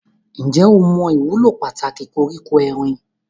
Ǹjẹ́ o mọ ìwúlò pàtàkì koríko erin?